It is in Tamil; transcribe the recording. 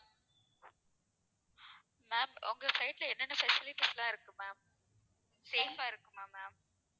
ma'am உங்க side ல என்னென்ன facilities லாம் இருக்கும் ma'amsafe ஆ இருக்குமா ma'am